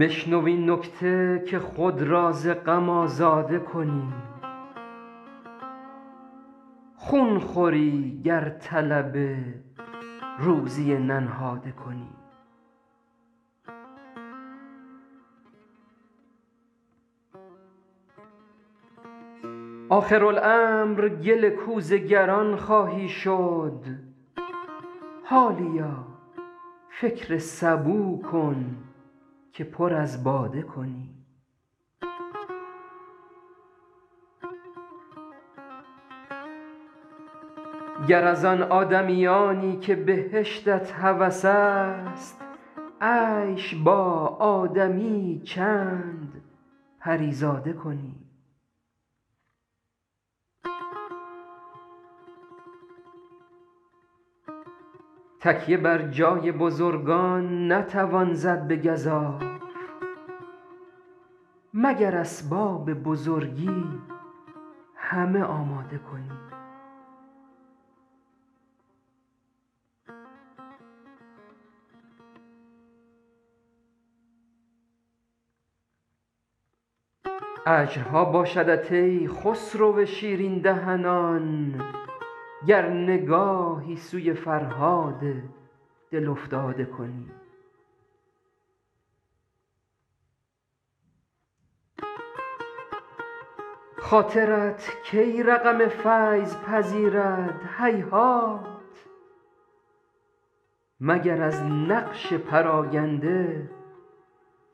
بشنو این نکته که خود را ز غم آزاده کنی خون خوری گر طلب روزی ننهاده کنی آخرالامر گل کوزه گران خواهی شد حالیا فکر سبو کن که پر از باده کنی گر از آن آدمیانی که بهشتت هوس است عیش با آدمی یی چند پری زاده کنی تکیه بر جای بزرگان نتوان زد به گزاف مگر اسباب بزرگی همه آماده کنی اجرها باشدت ای خسرو شیرین دهنان گر نگاهی سوی فرهاد دل افتاده کنی خاطرت کی رقم فیض پذیرد هیهات مگر از نقش پراگنده